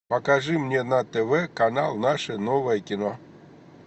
покажи мне на тв канал наше новое кино